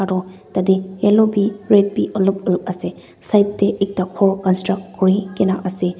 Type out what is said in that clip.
toh tate yellow bi red bi olop olop ase side tae ekta ghor construct kurikaena ase.